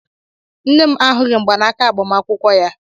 Nne m ahụghị mgbanaaka agbamakwụkwọ ya.